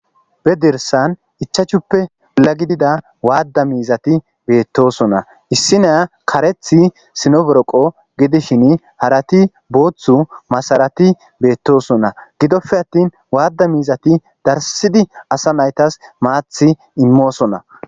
Be dirssan ichchashshuppe naggidda waada miizatti bettosonna. Issiniya kareththi sino boroqqo gidishin harathi booththa masarati bettosonna. Gidope attin waada mizatti darssidi asa nayttas maththi immosona.